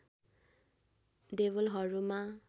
देवलहरूमा